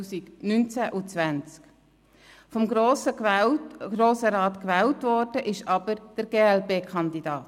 Vom Grossen Rat gewählt worden ist aber der glp-Kandidat.